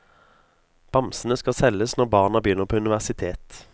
Bamsene skal selges når barna begynner på universitet.